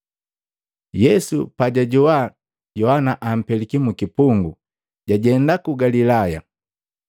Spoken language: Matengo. Yesu pajajoa Yohana ampeliki mu kipungu, jajenda ku Galilaya.